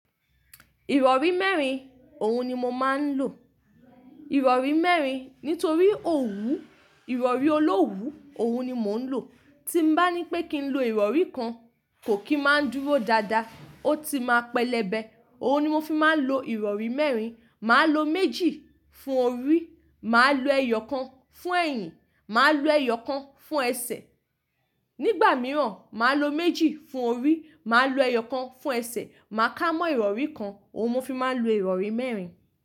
Ìrọ̀rí mẹ́rin, òhun ni mo máa ń lò. Ìrọ̀rí mẹ́rin nítorí òwú, ìrọ̀rí olówú, òhun ni mò ń lò. Tí m bá ní pé kí n lo ìrọ̀rí kan, kò kí máa n dúró dáadáa, ó ti máa pẹlẹbẹ. Òhun ni mo fi máa ń lo ìrọ̀rí mẹ́rin. Máa lo méjì fún orí, màá lo ẹyọ kan fún ẹ̀yìn, màá lo ẹyọ kan fún ẹsẹ̀. Nígbà mìíràn, màá lo méjì fún orí, màá lo ẹyọ kan fún ẹsẹ̀, màá kámọ́ ìrọ̀rí kan. Òhun mo fi máa ń lo ìrọ̀rí mẹ́rin.